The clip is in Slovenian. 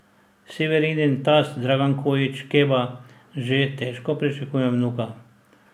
Severinin tast Dragan Kojić Keba že težko pričakuje vnuka.